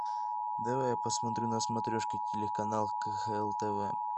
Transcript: давай я посмотрю на смотрешке телеканал кхл тв